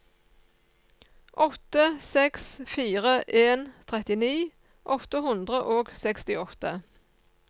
åtte seks fire en trettini åtte hundre og sekstiåtte